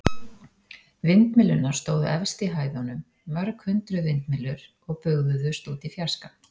Vindmyllurnar stóðu efst í hæðunum, mörg hundruð vindmyllur og bugðuðust út í fjarskann.